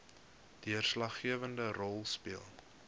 deurslaggewende rol speel